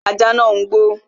Ajá nàá ń gbó